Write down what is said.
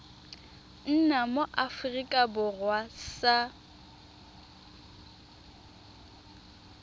nna mo aforika borwa sa